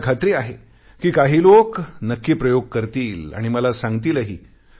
मला खात्री आहे काही लोक नक्की प्रयोग करतील आणि मला सांगतिलही